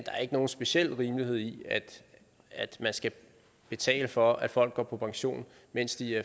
er nogen speciel rimelighed i at vi skal betale for at folk går på pension mens de